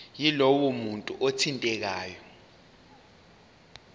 yalowo muntu othintekayo